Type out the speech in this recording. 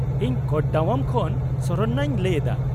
-ᱤᱧ ᱠᱳᱴᱰᱟᱣᱟᱢ ᱠᱷᱚᱱ ᱥᱚᱨᱚᱱᱱᱟ ᱤᱧ ᱞᱟᱹᱭ ᱮᱫᱟ ᱾